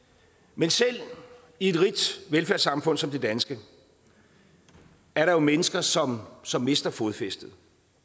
men selv i et rigt velfærdssamfund som det danske er der jo mennesker som som mister fodfæstet